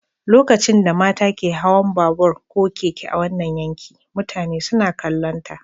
Lokacin da mata ke hawan babur ko keke a wannan yanki, mutane suna kallonta.